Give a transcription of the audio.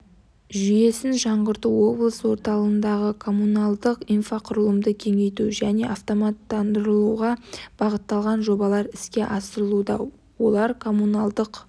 жүйесін жаңғырту облыс орталығындағы коммуналдық инфрақұрылымды кеңейту және автоматтандыруға бағытталған жобалар іске асырылуда олар коммуналдық